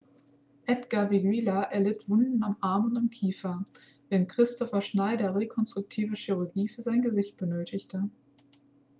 edgar veguilla erlitt wunden am arm und am kiefer während kristoffer schneider rekonstruktive chirurgie für sein gesicht benötigte